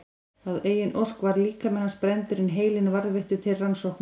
Að eigin ósk var líkami hans brenndur en heilinn varðveittur til rannsókna.